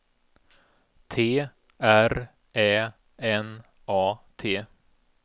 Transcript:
T R Ä N A T